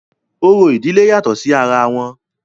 orò ìdílé yàtọ̀ sí ara wọn